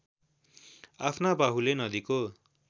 आफ्ना बाहुले नदीको